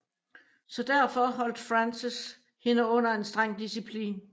Så derfor holdt Frances hende under en streng disciplin